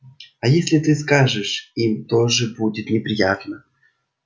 а если ты скажешь им тоже будет неприятно